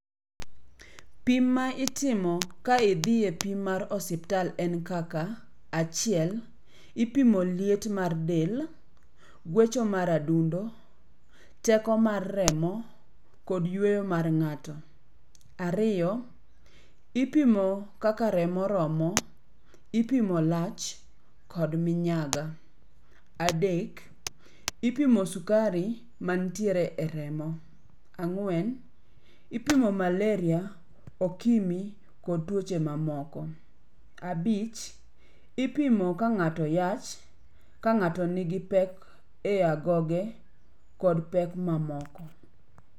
Pim ma itimo ka idhi e pim mar osiptal en kaka. Achiel, ipimo liet mar del, gwecho mar adundo, teko mar remo, kod yueyo mar ngh'ato. Ariyo, ipimo kaka remo romo, ipimo lach kod minyaga. Adek, ipimo sukari mantiere e remo. Ang'wen, ipimo malaria, okimi kod tuoche mamoko. Abich, ipimo ka ng'ato yach, ka ng'ato nigi pek e agoge, kod pek mamoko.